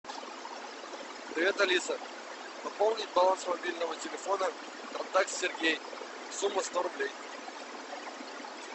привет алиса пополнить баланс мобильного телефона контакт сергей сумма сто рублей